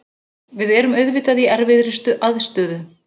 Við erum auðvitað í erfiðri aðstöðu.